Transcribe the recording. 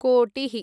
कोटिः